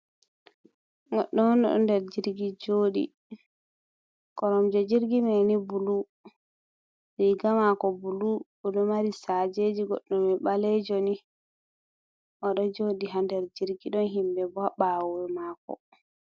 Goɗɗo oɗo der jirgi joɗi ,korom je jirgi mani ɓulu riga mako ɓulu oɗo mari sajeji ,goɗɗo mai balejoni oɗo joɗi ha der jirgi ɗon himɓe ɓo ha ɓawoye mako.